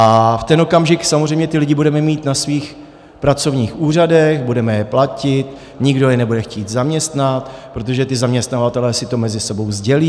A v ten okamžik samozřejmě ty lidi budeme mít na svých pracovních úřadech, budeme je platit, nikdo je nebude chtít zaměstnat, protože ti zaměstnavatelé si to mezi sebou sdělí.